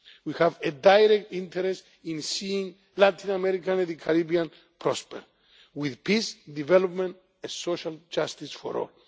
We have a direct interest in seeing Latin America and the Caribbean prosper, with peace, development and social justice for